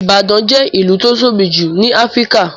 Ìbàdàn jẹ́ ìlú tó tóbi jù ní Áfíríkà